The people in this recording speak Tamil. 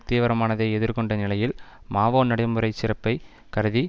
தீவிரமானதை எதிர்கொண்ட நிலையில் மாவோ நடைமுறை சிறப்பை கருதி